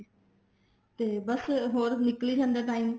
ਤੇ ਬੱਸ ਹੋਰ ਨਿਕਲੀ ਜਾਂਦਾ time